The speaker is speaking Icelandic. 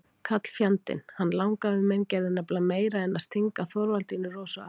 Karlfjandinn, hann langafi minn, gerði nefnilega meira en að stinga Þorvaldínu Rósu af.